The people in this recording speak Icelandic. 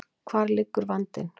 Hvar liggur vandinn?